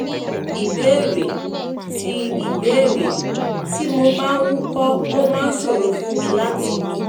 ìbéèrè: tí ìbéèrè: tí mo bá ń wúkọ́ ó máa ń ṣòro fún mi láti mi